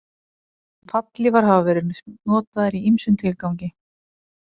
Fallhlífar hafa verið notaðar í ýmsum tilgangi.